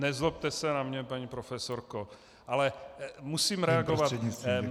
Nezlobte se na mě, paní profesorko, ale musím reagovat.